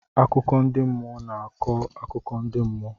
Akụkọ ndị mmụọ na-akọ akụkọ ndị mmụọ.